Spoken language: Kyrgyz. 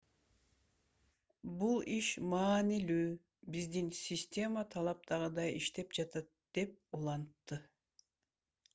бул иш маанилүү биздин система талаптагыдай иштеп жатат - деп улантты